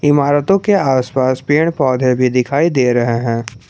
इमारतो के आसपास पेड़ पौधे भी दिखाई दे रहे हैं।